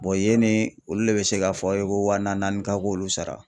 Bɔn yenne olu le be se k'a fɔ aw ye ko waa na nani ka k'olu sara